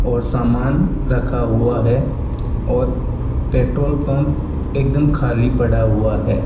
और सामान रखा हुआ है और पेट्रोल पंप एकदम खाली पड़ा हुआ है।